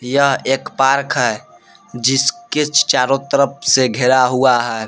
यह एक पार्क है जिसके चारों तरफ से घिरा हुआ है।